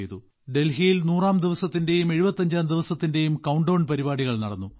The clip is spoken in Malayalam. ഡൽഹിയിൽ 100ാം ദിവസത്തിന്റെയും 75ാം ദിവസത്തിന്റെയും കൌണ്ട്ഡൌൺ പരിപാടികൾ നടന്നു